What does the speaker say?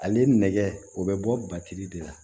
Ale nɛgɛ o bɛ bɔ de la